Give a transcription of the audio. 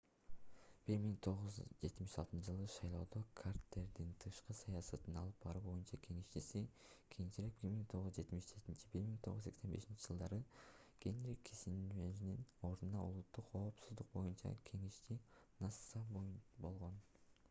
1976-ж. шайлоодо картердин тышкы саясатты алып баруу боюнча кеңешчиси кийинчерээк 1977-1981-жж. генри киссинджердин ордуна улуттук коопсуздук боюнча кеңешчи nsa болгон